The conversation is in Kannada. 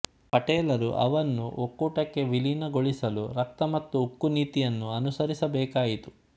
ಪಟೇಲರು ಅವನ್ನು ಒಕ್ಕೊಟಕ್ಕೆ ವಿಲೀನಗೊಳಿಸಲು ರಕ್ತ ಮತ್ತು ಉಕ್ಕು ನೀತಿಯನ್ನು ಅನುಸರಿಸಬೇಕಾಯಿತು